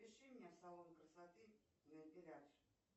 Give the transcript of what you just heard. запиши меня в салон красоты на эпиляцию